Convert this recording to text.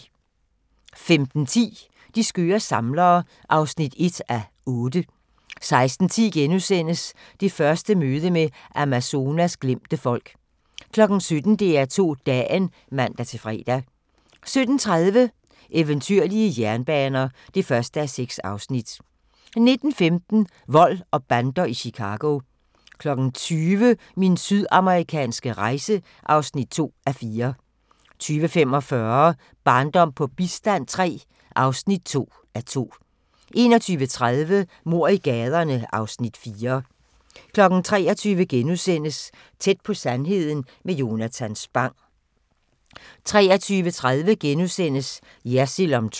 15:10: De skøre samlere (1:8) 16:10: Det første møde med Amazonas glemte folk * 17:00: DR2 Dagen (man-fre) 18:30: Eventyrlige jernbaner (1:6) 19:15: Vold og bander i Chicago 20:00: Min sydamerikanske rejse (2:4) 20:45: Barndom på bistand III (2:2) 21:30: Mord i gaderne (Afs. 4) 23:00: Tæt på sandheden med Jonatan Spang * 23:30: Jersild om Trump *